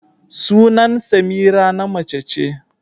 Sunan Semira na mace ce.